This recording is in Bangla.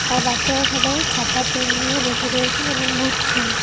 আর বাচ্চারা সবাই খাতা পেন নিয়ে বসে রয়েছেন এবং বুঝছেন।